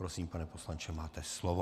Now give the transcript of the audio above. Prosím, pane poslanče, máte slovo.